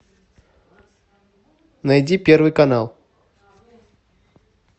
найди первый канал